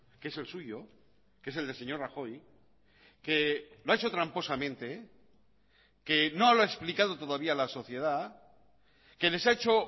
que es el suyo que es el del señor rajoy que lo ha hecho tramposamente que no lo ha explicado todavía a la sociedad que les ha hecho